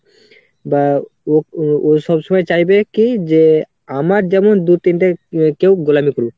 বা ও ও সবসময় চাইবে কি যে আমার যেমন দু তিনটে কেউ গোলামি করুক।